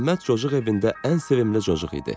Məhəmməd cocuq evində ən sevimli cocuq idi.